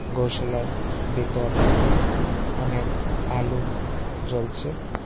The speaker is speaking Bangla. গৌসালার ভিতর অনেক আলু জ্বলছে।